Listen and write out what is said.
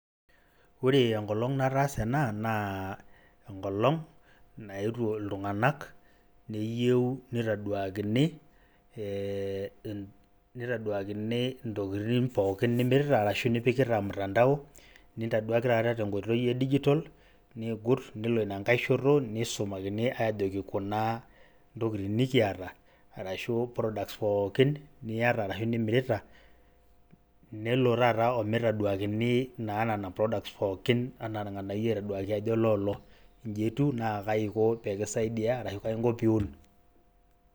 Ore enkolong' nataasa ena naa enkolong' naetuo iltung'anak neyeu nitaduakini ee nitaduakini intokitin pookin nimirita arashu nipikita mtandao, nintaduaki taata te nkoitoi e dijital niigut nelo ina nkae shoto nisumakini ajoki kuna ntokitin nikiata arashu products pookin niyata arashu nimirita, nelo taata o mitaduakini naa nena products pookin nitaduakini ajo loolo inji etiu na kai iko pee ki saidia arashu kai inko pee iun.